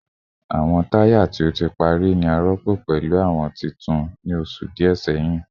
Awọn taya ti o ti pari ni a rọpo pẹlu awọn tuntun ni oṣu diẹ sẹhin